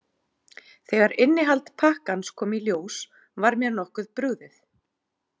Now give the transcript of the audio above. Þegar innihald pakkans kom í ljós var mér nokkuð brugðið.